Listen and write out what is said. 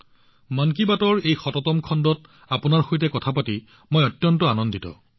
মন তী বাতৰ এই শততম খণ্ডত আপোনাৰ সৈতে কথা পাতি বৰ আনন্দিত হৈছো